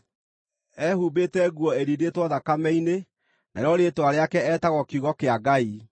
Ehumbĩte nguo ĩrindĩtwo thakame-inĩ, narĩo rĩĩtwa rĩake etagwo Kiugo-kĩa-Ngai.